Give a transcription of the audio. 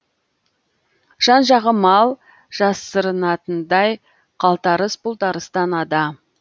жан жағы мал жасырынатындай қалтарыс бұлтарыстан ада